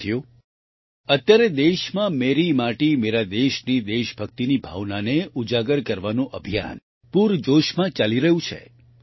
સાથીઓ અત્યારે દેશમાં મેરી માટી મેરા દેશની દેશભક્તિની ભાવનાને ઉજાગર કરવાનું અભિયાન પૂરજોશમાં ચાલી રહ્યું છે